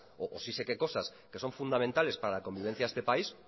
o sí sé qué cosas que son fundamentales para la convivencia de este país